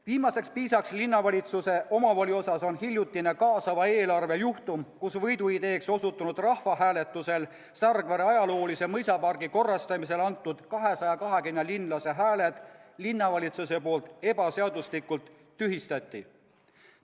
Viimaseks piisaks linnavalitsuse omavoli osas on hiljutine kaasava eelarve juhtum, kus võiduideeks osutunud rahvahääletusel Sargvere ajaloolise mõisapargi korrastamisele antud 220 linlase hääled linnavalitsuse poolt ebaseaduslikult tühistati.